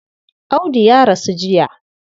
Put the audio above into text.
Audu ya rasu jiya.